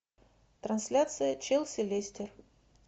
трансляция челси лестер